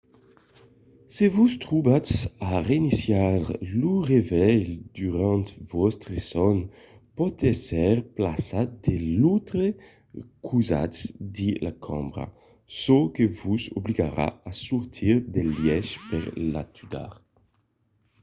se vos trobatz a reinicializar lo revelh durant vòstre sòn pòt èsser plaçat de l'autre costat de la cambra çò que vos obligarà a sortir del lièch per l'atudar